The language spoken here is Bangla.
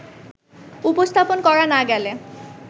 উপস্থাপন করা না গেলে